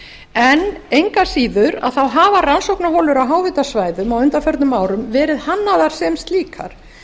en engu að síður hafa rannsóknarholur á háhitasvæðum á undanförnum árum verið hannaðar sem slíkar